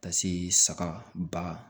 Ka se saga ba